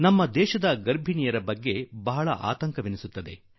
ನಮ್ಮ ದೇಶದಲ್ಲಿ ಗರ್ಭಿಣಿ ತಾಯಂದಿರ ಜೀವನದಲ್ಲಿ ಚಿಂತೆ ಆಗಾಗ ಬಹಳ ಸತಾಯಿಸುತ್ತದೆ